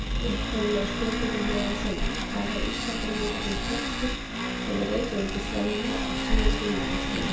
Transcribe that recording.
Upprunalega spurningin hljóðaði svona: Hvað var ísaldarjökullinn þykkur yfir Reykjavíkursvæðinu á síðasta jökulskeiði?